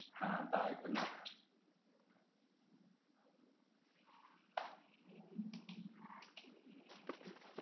হ্যাঁ bye good night